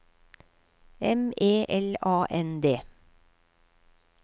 M E L A N D